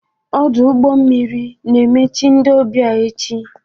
Ọdụ ụgbọ mmiri na-emechi ndị ọbịa echi.